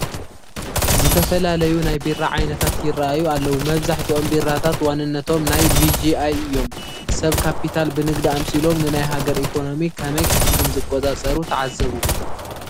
ዝተፈላለዩ ናይ ቢራ ዓይነታት ይርአዩ ኣለዉ፡፡ መብዛሕትኦም ቢራታት ዋንነቶም ናይ ቢጂኣይ እዮም፡፡ ሰብ ካፒታል ብንግዲ ኣምሲሎም ንናይ ሃገር ኢኮነሚ ከመይ ከምዝቆፃፀሩ ተዓዘቡ፡፡